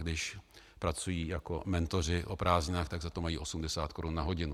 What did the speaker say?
Když pracují jako mentoři o prázdninách, tak za to mají 80 korun na hodinu.